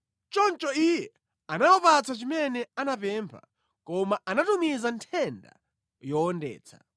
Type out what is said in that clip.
Choncho Iye anawapatsa chimene anapempha, koma anatumiza nthenda yowondetsa.